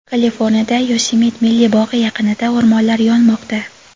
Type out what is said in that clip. Kaliforniyada Yosemit milliy bog‘i yaqinida o‘rmonlar yonmoqda.